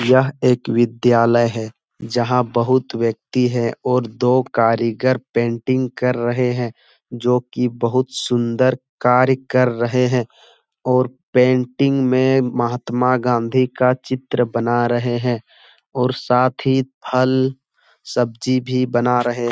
यह एक विद्यालय है जहां बहुत व्यक्ति है और दो कारीगर पेंटिग कर रहे हैं जो की बहुत सुन्दर कार्य कर रहे हैं और पेंटिंग में महात्मा गांधी का चित्र बना रहे हैं और साथ ही फल सब्जी भी बना रहे --